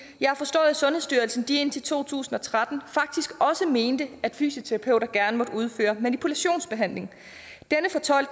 jeg har forstået at sundhedsstyrelsen indtil to tusind og tretten faktisk også mente at fysioterapeuter gerne måtte udføre manipulationsbehandling